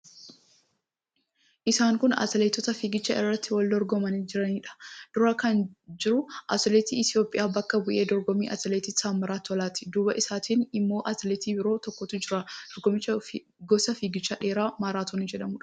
Isaan kun atileetota fiigicha irratti wal dorgomaa jiraniidha. Dura kan jiru atileetii Itiyoophiyaa bakka bu'ee dorgomu Atileet Taammiraat Tolaati. Duuba isaatiin immoo atileetii biroo tokkotu jira. Dorgommichi gosa fiigicha dheeraa maaraatoonii jedhamuudha.